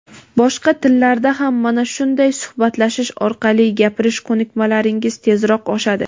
Boshqa tillarda ham mana shunday suhbatlashish orqali gapirish ko‘nikmalaringiz tezroq oshadi.